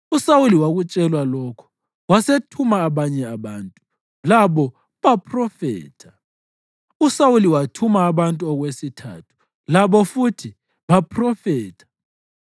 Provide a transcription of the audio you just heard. USawuli wakutshelwa lokho wasethuma abanye abantu, labo baphrofetha. USawuli wathuma abantu okwesithathu, labo futhi baphrofetha.